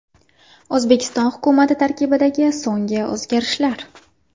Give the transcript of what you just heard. O‘zbekiston hukumati tarkibidagi so‘nggi o‘zgarishlar.